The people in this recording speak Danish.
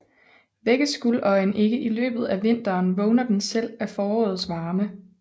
Vækkes guldøjen ikke i løbet af vinteren vågner den selv af forårets varme